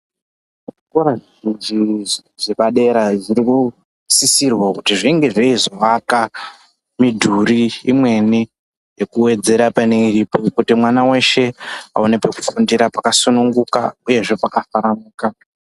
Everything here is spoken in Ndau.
Zvikora zvepadera zviri kusisirwa kuti zvinge zveizovaka midhuri imweni yekuwedzera pane iripo kuti mwana weshe aone pekufundira pakasununguka uyezve pakafanuka.